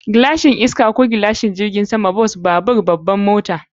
Gilashin iska ko gilashin jirgin sama, mota, bas, babur, babbar mota.